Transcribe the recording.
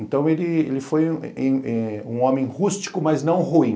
Então ele ele foi eh um homem rústico, mas não ruim.